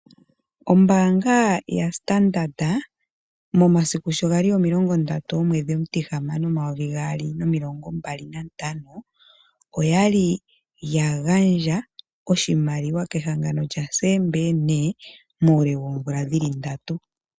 Ombaanga yaStandard momasiku sho gali 30/Juni/2025, oyali ya gandja oshimaliwa kehangano SBN muule woomvula ndatu.